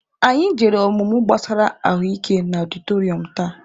Anyị jere ọmụmụ gbasara ahụ ike na ọdịtọrịọm taa.